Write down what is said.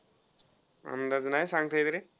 अंदाज नाही सांगता येत रे.